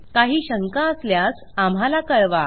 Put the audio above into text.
काही शंका असल्यास आम्हाला कळवा